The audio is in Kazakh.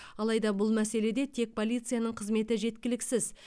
алайда бұл мәселеде тек полицияның қызметі жеткіліксіз